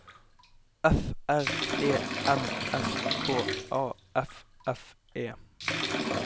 F R E M S K A F F E